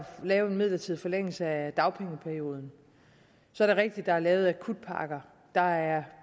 lave en midlertidig forlængelse af dagpengeperioden så er det rigtigt at der er lavet akutpakker der er